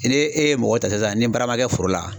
e ye mɔgɔ ta sisan ni baara man kɛ foro la